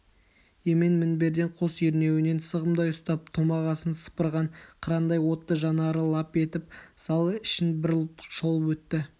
емен мінбердің қос ернеуінен сығымдай ұстап томағасын сыпырған қырандай отты жанары лап етіп зал ішін бір шолып өтті